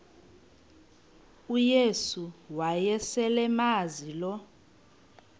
uyesu wayeselemazi lo